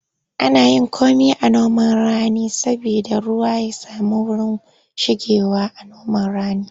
Ana yin komi a noman rani saboda ruwa ya samu wurin shigewa.a noman rani